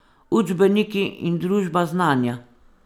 Učbeniki in družba znanja.